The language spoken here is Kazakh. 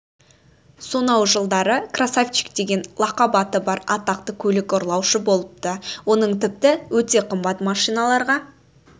сонау жылдары красавчик деген лақап аты бар атақты көлік ұрлаушы болыпты оның тіпті өте қымбат машиналарға